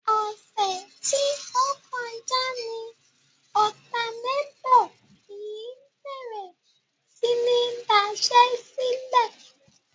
Ọ̀sẹ̀ tí ó kọjá ni ọ̀tanátọ̀ yìí bèrè sí ní daṣẹ́sílẹ̀.